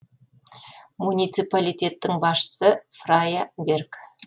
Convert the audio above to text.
муниципалитеттің басшысы фрайа берг